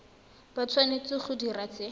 ba tshwanetse go dira se